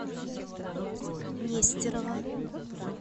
нестерова